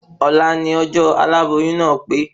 Òla ni ọjọ́ aláboyún náà pé